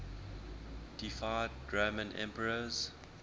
deified roman emperors